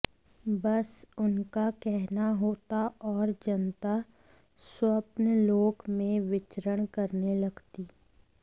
बस उनका कहना होता और जनता स्वप्नलोक में विचरण करने लगती